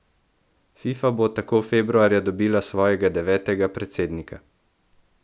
Fifa bo tako februarja dobila svojega devetega predsednika.